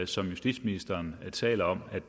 som justitsministeren taler om